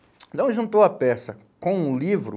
Então, juntou a peça com o livro.